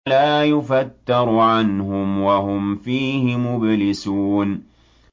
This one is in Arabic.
لَا يُفَتَّرُ عَنْهُمْ وَهُمْ فِيهِ مُبْلِسُونَ